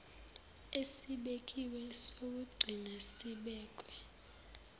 esibekiwe sokugcina sibekwe